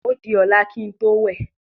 òdí ọlá kín tó wẹ.